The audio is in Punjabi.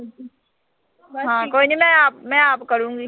ਹਾਂ, ਕੋਈ ਨੀਂ ਮੈਂ ਆਪ, ਆਪ ਕਰੂੰਗੀ